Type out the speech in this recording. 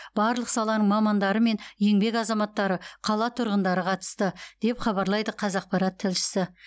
барлық саланың мамандары мен еңбек азаматтары қала тұрғындары қатысты деп хабарлайды қазақпарат тілшісі